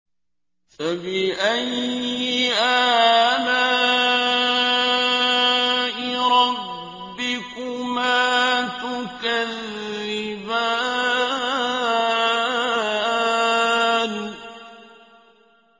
فَبِأَيِّ آلَاءِ رَبِّكُمَا تُكَذِّبَانِ